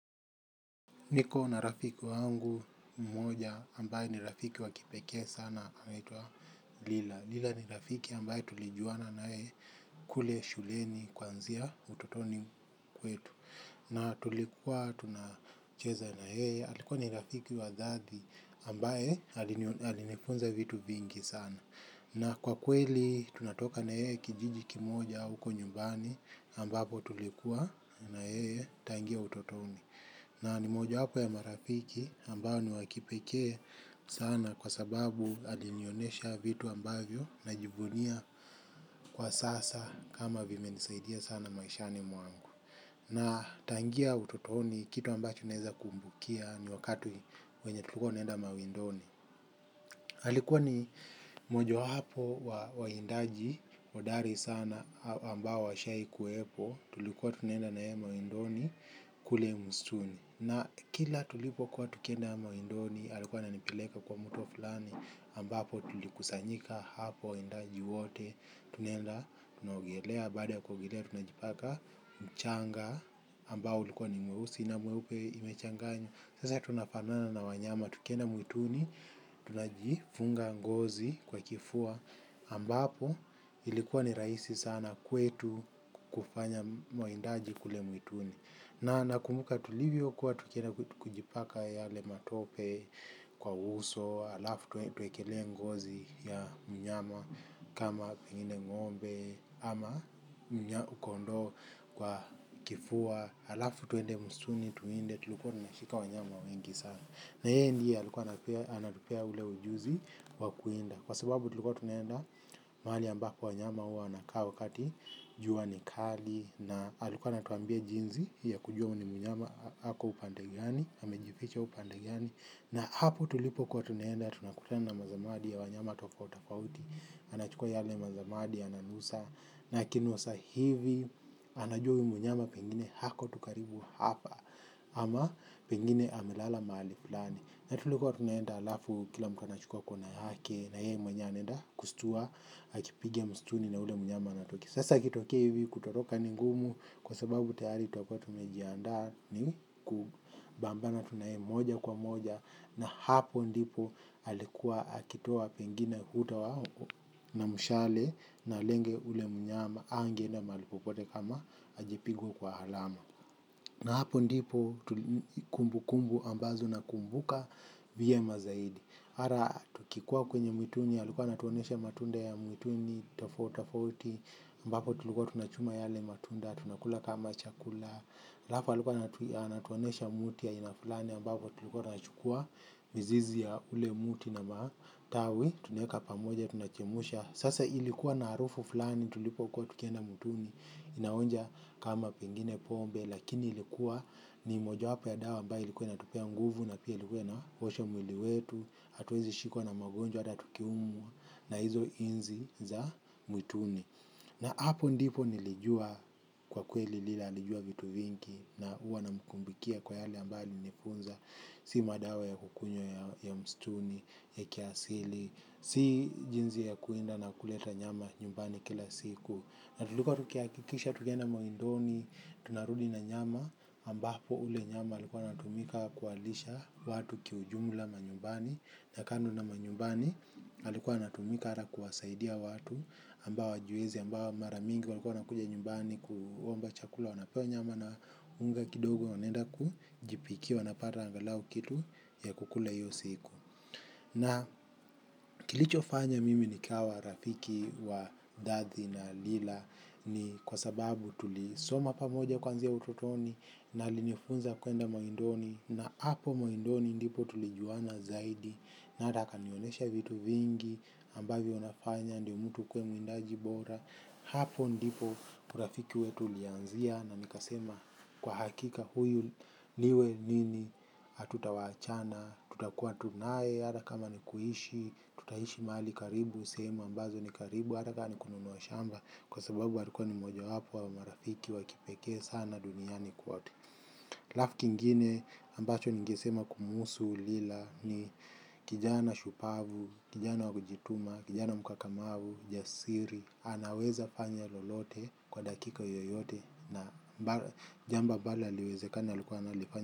Niko na rafiki wangu mmoja ambaye ni rafiki wakipeke sana anaitwa Lila. Lila ni rafiki ambaye tulijuana nae kule shuleni kuanzia utotoni kwetu. Na tulikuwa tunacheza na yeye alikuwa ni rafiki wadhati ambaye alinifunza vitu vingi sana. Na kwa kweli tunatoka na yeye kijiji kimoja uko nyumbani ambapo tulikuwa na yeye tangia utotoni. Na ni mojo hapo ya marafiki ambao ni wakipekee sana kwa sababu alinionesha vitu ambayo najivunia kwa sasa kama vimenisaidia sana maishani mwangu. Na tangia utotoni kitu ambacho naweza kumbukia ni wakati wenye tulikuwa tunaenda mawindoni. Alikua ni moja wapo wa waindaji hodari sana ambao washawahi kuwepo tuliko tunaenda na yeye mawindoni kule mstuni. Na kila tulipo kuwa tukienda mawindoni, alikuwa ananipeleka kwa mto fulani ambapo tulikusanyika hapo waindaji wote tunaenda, tunaogelea baada ya kuogelea, tunajipaka mchanga ambao ulikuwa ni mweusi na mweupe imechanganywa. Sasa tunafanana na wanyama, tukienda mwituni, tunajifunga ngozi kwa kifua ambapo ilikuwa ni raisi sana kwetu kufanya mwaindaji kule mwituni. Na nakumbuka tulivyo kuwa tukienda kule tukijipaka yale matope kwa uso, alafu tuwekelee ngozi ya mnyama kama pengine ng'ombe ama koondo kwa kifua, alafu twende msituni tuwinde tulikuwa tumeshika wanyama wengi sana. Na yeye ndiye alikuwa anatupea ule ujuzi wakuinda kwa sababu tulikuwa tunaenda mahali ambako wanyama huwa wanakaa wakati jua ni kali na alikuwa anatuambia jinsi ya kujua huyu ni mnyama hako upande gani, amejificha upande gani na hapo tulipokuwa tunaenda tunakutana na mazamadi ya wanyama tofauti tofauti anachukua yale mazamadi ananusa na akinusa hivi anajua huyu mnyama pengine hako tu karibu hapa ama pengine amelala mahali flani. Natulikuwa tunaenda alafu kila mtu anachukwa kona yake na yeye mwenyewe anenda kustua akipigia msituni na yule mnyama anatoka, sasa ikitokea hivi kutoroka ni ngumu kwa sababu tayari tutakuwa tumejiandaa ni kupambana tu na yeye moja kwa moja na hapo ndipo alikuwa akitoa pengine na mshale na lenga ule mnyama angeenda mahali popote kama ajapigwa kwa alama na hapo ndipo kumbukumbu ambazo nakumbuka vyema zaidi mara tukikua kwenye mwituni alikuwa anatuonesha matunda ya mwituni tofauti tofauti mbapo tulikuwa tunachuma yale matunda tunakula kama chakula alafu alikuwa anatuonyesha mti ya aina fulani mbapo tulikua tunaichukua mizizi ya ule mti na matawi tunaweka pamoja, tunajumuisha, sasa ilikuwa na harufu flani tulipokuwa tukienda mwituni ninaonja pengine kama ilikuwa pombe ni mojawapa ya dawa ambayo ilikuwa inatumia nguvu na pia ilikuwa inaosha mwili wetu hatuwezi shikwa na magonjwa hata tukiumwa na hizo inzi za mwituni na hapo ndipo nilijua kwa kweli Lila alijua vitu vingi na huwa namkumbukia kwa yale ambayo alinifunza si madawa ya kukunywa ya msituni ya kiasili si jinsi ya kuwinda na kuleta nyama nyumbani kila siku na tulikuwa tukihakikisha tukienda mawindoni, tunarudi na nyama, ambapo ule nyama alikuwa anatumika kuwalisha watu kiujumla manyumbani, na kando na manyumbani alikuwa anatumika ata kuwasaidia watu ambao hawajiwezi ambao mara mingi walikuwa wanakuja nyumbani kuomba chakula wanapewa nyama na unga kidogo wanaenda kujipikiwa wanapata angalau kitu ya kukula hiyo siku. Na kilichofanya mimi nikawa rafiki wa dadhi na lila ni kwa sababu tulisoma pamoja kuanzia utotoni na alinifunza kuenda mawindoni na hapo mawindoni ndipo tulijuwana zaidi na hata akanionesha vitu vingi ambavyo nafanya ndio mtu ukuwe muindaji bora. Hapo ndipo urafiki wetu ulianzia na nikasema kwa hakika huyu iwe nini hatutoachana tutakuwa tu nae hata kama nikuishi, tutaishi mahali karibu, sehemu ambazo ni karibu hata kama nikununua shamba kwa sababu alikuwa ni mojawapo wa marafiki wakipekee sana duniani kote. Alafu kengine ambacho ningesema kumuhusu Lila ni kijana shupavu, kijana wakujituma, kijana mkakamavu, jasiri anaweza fanya lolote kwa dakika yoyote. Na jambo ambalo haliwezeka alikuwa analifanya.